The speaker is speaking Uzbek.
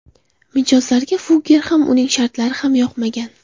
Mijozlarga Fugger ham, uning shartlari ham yoqmagan.